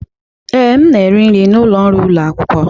Ee, m na-eri nri n'ụlọ nri ụlọ akwụkwọ.